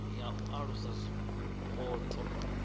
ya u alusa zwipotso i